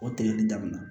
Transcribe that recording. O tigɛli daminɛ